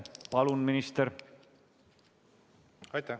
Palun, minister!